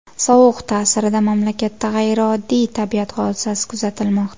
Sovuq ta’sirida mamlakatda g‘ayrioddiy tabiat hodisasi kuzatilmoqda .